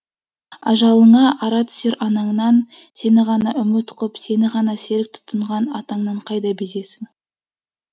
ажалыңа ара түсер анаңнан сені ғана үміт қып сені ғана серік тұтынған атаңнан қайда безесің